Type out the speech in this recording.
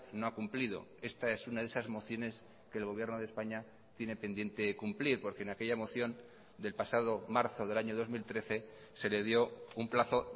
no ha cumplido esta es una de esas mociones que el gobierno de españa tiene pendiente cumplir porque en aquella moción del pasado marzo del año dos mil trece se le dio un plazo